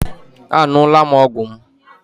Aṅụla m ọgwụ m